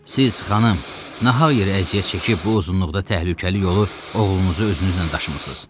Siz, xanım, nahaq yerə əziyyət çəkib bu uzunluqda təhlükəli yolu oğlunuzu özünüzlə daşımışsız.